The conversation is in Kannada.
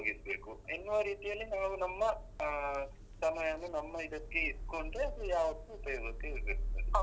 ಉಪಯೋಗಿಸ್ಬೇಕು ಎನ್ನುವ ರೀತಿಯಲ್ಲೇ ನಾವ್ ನಮ್ಮ ಅಹ್ ಸಮಯವನ್ನು ನಮ್ಮ ಇದಕ್ಕೆ ಇಟ್ಕೊಂಡು ಅದು ಯಾವತ್ತು ಉಪಯೋಗಕ್ಕೆ ಬರ್ಬೇಕು ಅದು.